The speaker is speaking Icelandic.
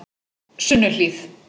Sunnuhlíð